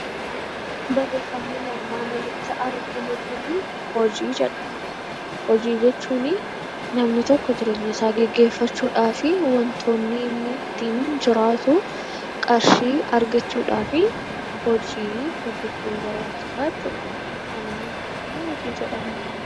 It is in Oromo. Barreeffamni nuyi armaan olitti arginu kunii 'Hojii' jedha. Hoji jechuuni namni tokko jireenya isaa geggeeffachuu dhaafi wantoonni ittiin jiraatu qarshii argachuu dhaafii hojii hojjechuu barbaachisaa jechuu dha.